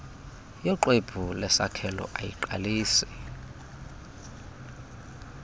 yoxwebhu lesakhelo ayiqalisi